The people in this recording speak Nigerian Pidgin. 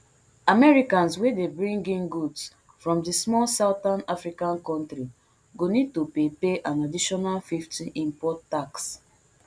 americans wey dey bring in goods from di small southern african kontri go need to pay pay an additional fifty import tax